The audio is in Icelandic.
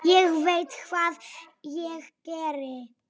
Ég veit hvað ég geri.